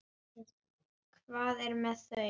Hvað er með þau?